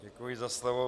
Děkuji za slovo.